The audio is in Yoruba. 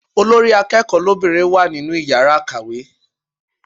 Olórí akẹ́kọ̀ọ́ lóbìnrin wà nínú yàrá ìkàwé.